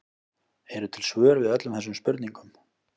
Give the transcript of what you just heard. Eru til svör við öllum þessum spurningum?